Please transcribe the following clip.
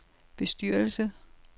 bestyrelse